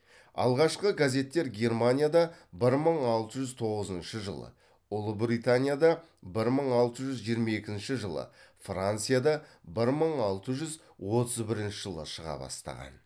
алғашқы газеттер германияда бір мың алты жүз тоғызыншы жылы ұлыбританияда бір мың алты жүз жиырма екінші жылы францияда бір мың алты жүз отыз бірінші жылы шыға бастады